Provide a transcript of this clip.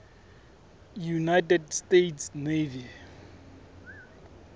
united states navy